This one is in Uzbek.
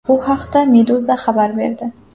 Bu haqda Meduza xabar berdi .